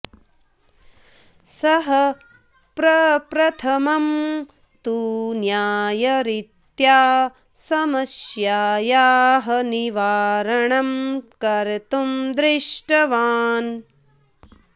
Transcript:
सः प्रप्रथमं तु न्यायरीत्या समस्यायाः निवारणं कर्तुं दृष्टवान्